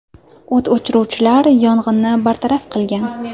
O‘t o‘chiruvchilar yong‘inni bartaraf qilgan.